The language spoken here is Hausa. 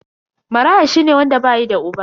Maraya shine wanda bayi da uba.